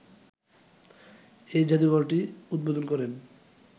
এই জাদুঘরটি উদ্বোধন করেন